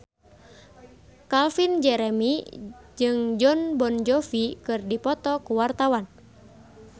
Calvin Jeremy jeung Jon Bon Jovi keur dipoto ku wartawan